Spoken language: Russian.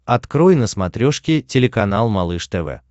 открой на смотрешке телеканал малыш тв